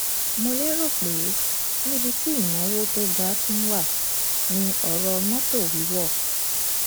mo lérò pé níbi pé níbi tí ìnáwó tó ga tún wà ní ọrọ mọtò wíwọ